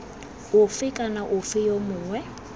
ofe kana ofe yo mongwe